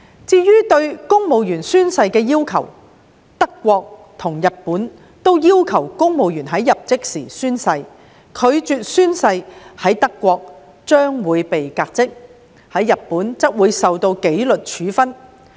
至於對公務員宣誓的要求，德國及日本均要求公務員在入職時宣誓；拒絕宣誓者，在德國將會被革職，在日本則會受到紀律處分。